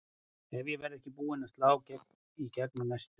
Ef ég verð ekki búin að slá í gegn á næstu